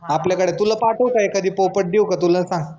आपल्याकड तुला पाठवू का एखादी पोपट देऊ का तुला सांग?